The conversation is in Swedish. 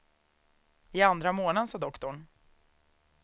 I andra månaden, sa doktorn.